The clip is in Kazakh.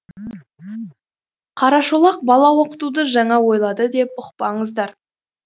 қарашолақ бала оқытуды жаңа ойлады деп ұқпаңыздар